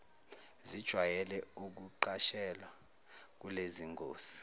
zijwayele ukuqashelwa kulezingosi